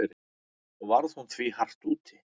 Og varð hún því hart úti.